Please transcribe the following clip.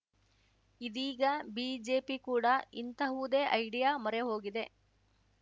ಇದೀಗ ಬಿಜೆಪಿ ಕೂಡ ಇಂತಹುದೇ ಐಡಿಯಾ ಮೊರೆ ಹೋಗಿದೆ